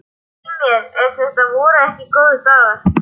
Svei mér ef þetta voru ekki góðir dagar.